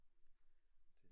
Det